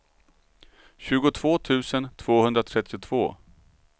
tjugotvå tusen tvåhundratrettiotvå